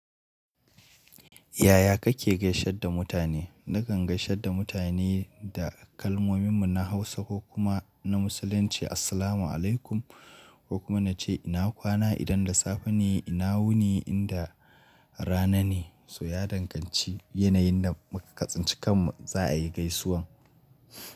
Yaya kake gaishe da mutane? Nakan gaishe da mutane da kalmomin mu na Hausa ko kuma na Musulunci “Assalamu alaikum” ko kuma nace ina kwana idan da safe ne ina wuni inda rana ne. To ya danganci yanayin da muka tsinci kan mu za a yi gaisuwan.